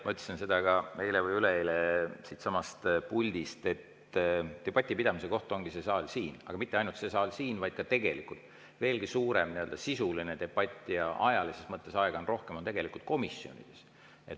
Ma ütlesin ka eile või üleeile siitsamast puldist, et debati pidamise koht ongi see saal siin, aga mitte ainult see saal siin, vaid ka veelgi suurem sisuline debatt, kus ka aega on rohkem, on tegelikult komisjonides.